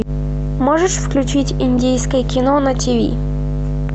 можешь включить индийское кино на тв